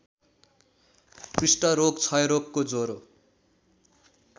कुष्ठरोग क्षयरोगको ज्वरो